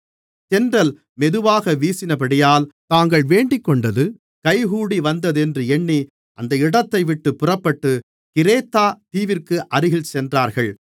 தென்றல் மெதுவாக வீசினபடியால் தாங்கள் வேண்டிக்கொண்டது கைகூடிவந்ததென்று எண்ணி அந்த இடத்தைவிட்டுப் புறப்பட்டு கிரேத்தா தீவிற்கு அருகில் சென்றார்கள்